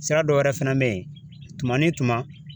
Sira dɔ wɛrɛ fɛnɛ be yen tuma ni tuma.